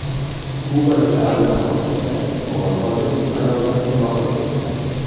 Kubadagi aviahalokatda omon qolgan uch ayoldan biri vafot etdi.